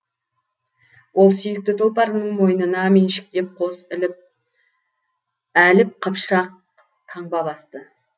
ол сүйікті тұлпарының мойнына меншіктеп қос әліп қыпшақ таңба басты